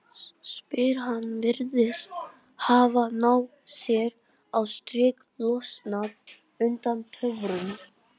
spyr hann, virðist hafa náð sér á strik, losnað undan töfrum